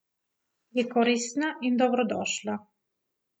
Je koristna in dobrodošla.